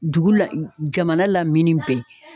Dugu la jamana lamini bɛɛ